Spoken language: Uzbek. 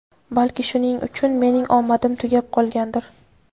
balki shuning uchun mening omadim tugab qolgandir.